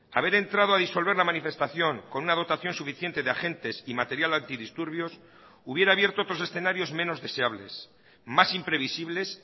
haber entrado a disolver la manifestación con una dotación suficiente de agentes y material antidisturbios hubiera abierto otros escenarios menos deseables más imprevisibles